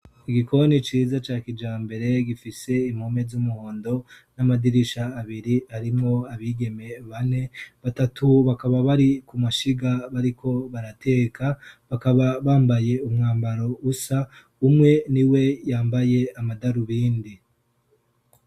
Igikoni ciza ca kijambere gifise impome z'umuhondo n'amadirisha abiri. Harimwo abigeme bane. Batatu bakaba bari kumashiga bariko barateka, bakaba bambaye umwambaro usa, umwe ni we yambaye amadarubindi.